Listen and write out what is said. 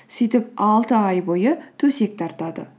сөйтіп алты ай бойы төсек тартады